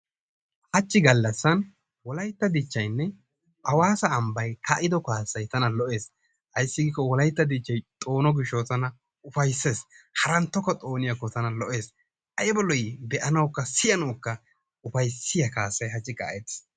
Hachchi galassan wolaytta dichchaynne awassa ambbay kaa'iddo kaasay tana lo'es, ayssi giiko wolaytta dichchay taana xoono gishshawu ufaysses, harantokka xooniyakko taana lo'es. Aybba lo'i siyanawukka be'anawkka ufayssiya kaassay hachchi kaa'ettis.